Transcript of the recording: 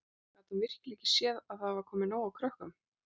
Gat hún virkilega ekki séð að það var komið nóg af krökkum?